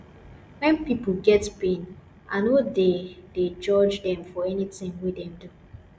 wen pipo get pain i no dey dey judge dem for anytin wey dem do